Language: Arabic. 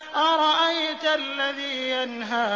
أَرَأَيْتَ الَّذِي يَنْهَىٰ